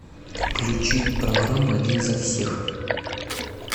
включить программу один за всех